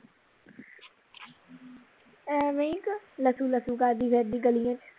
ਐਵੇਂ ਕਿ ਲੱਟੂ ਲੱਟੂ ਕਰਦੀ ਫਿਰਦੀ ਗਲੀਆਂ ਵਿਚ